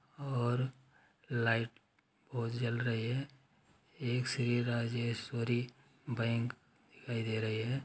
और लाइट बहोत जल रही है। एक श्री राजेश्वरी बैंक दिखाई दे रही है।